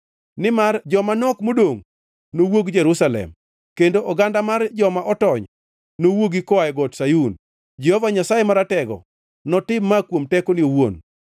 Nimar joma nok modongʼ nowuog Jerusalem, kendo oganda mar joma otony nowuogi koa e Got Sayun. Jehova Nyasaye Maratego, notim ma kuom tekone owuon.